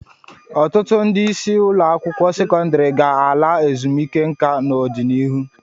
Ọtụtụ ndị isi ụlọ akwụkwọ sekọndrị ga-ala ezumike nka n'ọdịnihu.